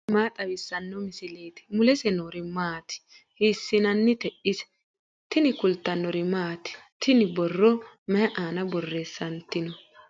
tini maa xawissanno misileeti ? mulese noori maati ? hiissinannite ise ? tini kultannori maati? tinni borro mayi aanna borreessanitinno?